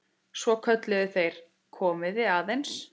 Svo kölluðu þeir: Komiði aðeins!